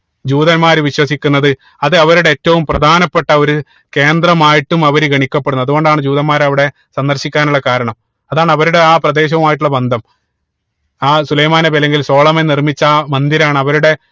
ജൂതന്മാര് വിശ്വസിക്കുന്നത് അത് അവരുടെ ഏറ്റവും പ്രധാനപ്പെട്ട ഒര് കേന്ദ്രമായിട്ടും അവര് ഗണിക്കപ്പെടുന്നു അതുകൊണ്ടാണ് ജൂതന്മാര് അവിടെ സന്ദർശിക്കാനുള്ള കാരണം അതാണ് അവരുടെ ആ പ്രദേശവുമായിട്ടുള്ള ബന്ധം ആ സുലൈമാൻ നബി അല്ലങ്കിൽ സോളമൻ നിർമിച്ച ആ മന്ദിരം ആണ് അവരുടെ